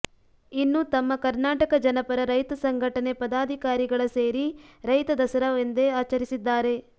ಇನ್ನೂ ತಮ್ಮ ಕರ್ನಾಟಕ ಜನಪರ ರೈತ ಸಂಘಟನೆ ಪದಾಧಿಕಾರಿಗಳ ಸೇರಿ ರೈತ ದಸರಾ ಎಂದೇ ಆಚರಿಸಿದ್ದಾರೆ